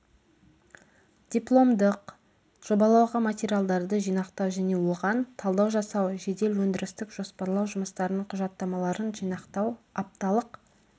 дипломдық жобалауға материалдарды жинақтау және оған талдау жасау жедел өндірістік жоспарлау жұмыстарының құжаттамаларын жинақтау апталық